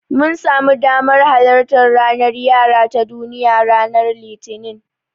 Mun samu damar halartar ranar yara ta Duniya ranar Litinin.